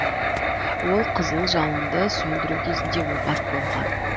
ол қызыл жалынды сөндіру кезінде опат болған